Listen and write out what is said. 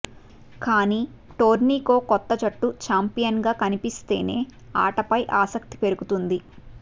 కానీ టోర్నీకో కొత్త జట్టు ఛాంపియన్గా కనిపిస్తేనే ఆటపై ఆసక్తి పెరుగుతుంది